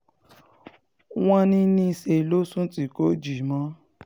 wọ́n ní níṣẹ́ ló sùn tí kò jí mọ́